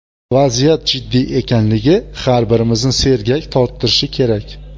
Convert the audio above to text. Vaziyat jiddiy ekanligi har birimizni sergak torttirishi kerak.